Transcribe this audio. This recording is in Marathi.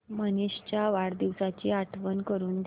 मनीष च्या वाढदिवसाची आठवण करून दे